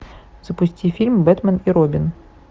запусти фильм бэтмен и робин